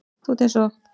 Þú ert eins og